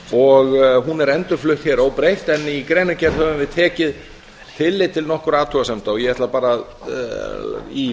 og hún er endurflutt hér óbreytt en í greinargerð höfum við tekið tillit til nokkurra athugasemda og ég ætla bara í